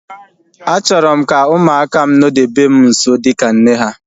Achọrọ m ka ụmụaka m nodebe m nso dịka nne ha